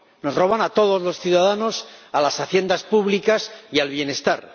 Nos roban a todos los ciudadanos, a las haciendas públicas y al bienestar.